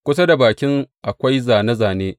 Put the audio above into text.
Kusa da bakin akwai zāne zāne.